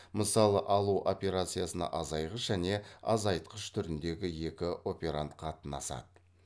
мысалы алу операциясына азайғыш және азайтқыш түріндегі екі операнд қатынасады